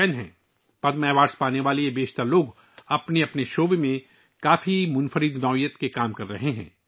ان میں سے زیادہ تر پدم ایوارڈ حاصل کرنے والے اپنے متعلقہ شعبوں میں منفرد کام کر رہے ہیں